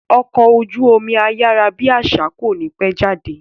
Ọkọ̀ ojú omi ayárábiàsà kò ní pẹ́ jáde